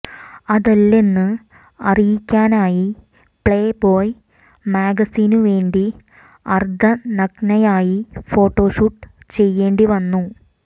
അതല്ലെന്ന് അറിയിക്കാനായി playboy മാഗസിനു വേണ്ടി അര്ധനഗ്നയായി ഫോട്ടോഷൂട്ട് ചെയ്യേണ്ടി വന്നു